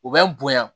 U bɛ n bonya